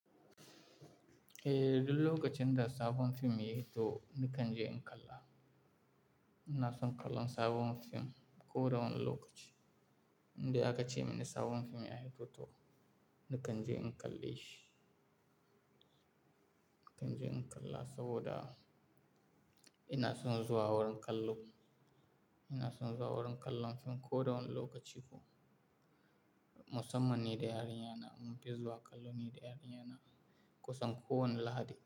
Eh, duk lokacin da sabon fim ya fito nakan je in kalla. Ina son kallon sabon fim ko da wane lokaci. Inda aka ce mini sabon fim ya fito to nakan je in kalle shi. Nakan je in kalla saboda ina son zuwa wurin kallo. Ina son zuwa wurin kallon fim ko da wane lokaci ko. Musammani da yarinyana mun fi zuwa kallo ne da yarinyana kusan kowane Lahadi.